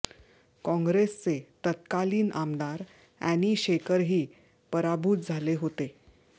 काँग्रेसचे तत्कालीन आमदार अॅनी शेखरही पराभूत झाले होते